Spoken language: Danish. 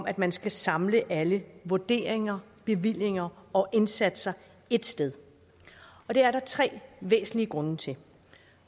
at man skal samle alle vurderinger bevillinger og indsatser ét sted det er der tre væsentlige grunde til